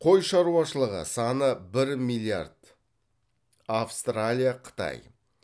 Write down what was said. қой шаруашылығы саны бір миллиард